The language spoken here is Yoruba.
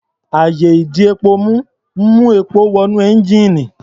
Àyè-ìdepomú ń mú epo wọ inú ẹ́ńjíìnì.